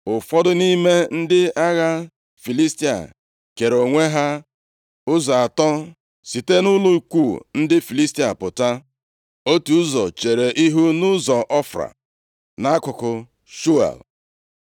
Ụfọdụ nʼime ndị agha Filistia kere onwe ha ụzọ atọ site nʼụlọ ikwu ndị Filistia pụta; otu ụzọ chere ihu nʼụzọ Ofra nʼakụkụ Shual,